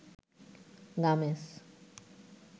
গামেস